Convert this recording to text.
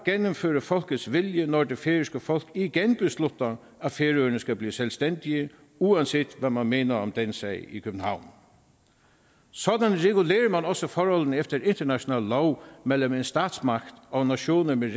gennemføre folkets vilje når det færøske folk igen beslutter at færøerne skal blive selvstændigt uanset hvad man mener om den sag i københavn sådan regulerer man også forholdene efter international lov mellem en statsmagt og nationer med